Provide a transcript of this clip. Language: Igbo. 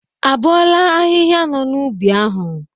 Abọọ ahịhịa nọ n'ubi ahu?